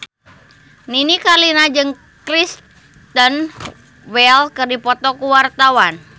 Nini Carlina jeung Kristen Bell keur dipoto ku wartawan